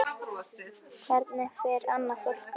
Hvernig fer annað fólk að?